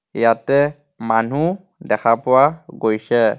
ইয়াতে মানুহ দেখা পোৱা গৈছে.